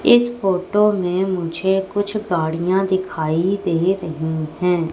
इस फोटो में मुझे कुछ गाड़ियां दिखाई दे रही हैं।